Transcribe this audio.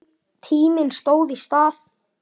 Tíminn stóð í stað.